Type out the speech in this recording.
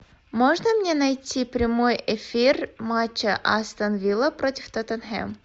можно мне найти прямой эфир матча астон вилла против тоттенхэм